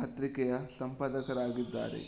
ಪತ್ರಿಕೆಯ ಸಂಪಾದಕರಾಗಿದ್ದಾರೆ